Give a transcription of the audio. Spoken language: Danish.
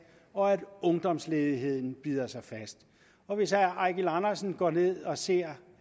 og at ungdomsledigheden bider sig fast og hvis herre eigil andersen går ned og ser